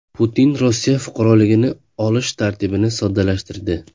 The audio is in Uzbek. Putin Rossiya fuqaroligini olish tartibini soddalashtirdi.